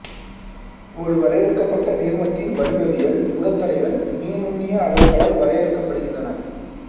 ஒரு வரையறுக்கப்பட்ட நீர்மத்தின் வடிவவியல் புறத்தடைகள் மீநுண்ணிய அளவுகளால் வரையறுக்கப்பட்டுகின்றன